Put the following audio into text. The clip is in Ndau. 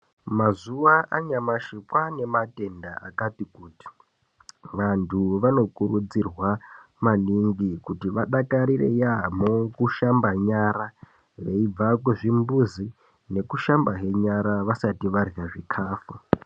Mazuwa anyamashi kwaane matenda akati kuti vantu vanokurudzirwa maningi kuti vadakarire yaamho kushamba nyara veibva kuzvimbuzi nekushambahe nyara vasati varya zvikafu.